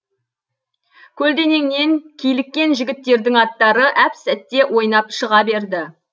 көлденеңнен киліккен жігіттердің аттары әп сәтте ойнап шыға берді